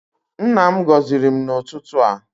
Nna m gọziri m n'ụtụtụ a.